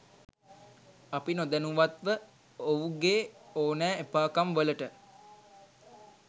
අපි නොදැනුවත්ව ඔවුගේ ඔනෑ එපා කම් වලට